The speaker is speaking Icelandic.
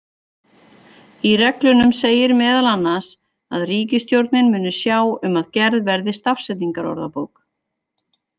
Í reglunum segir meðal annars að ríkisstjórnin muni sjá um að gerð verði stafsetningarorðabók.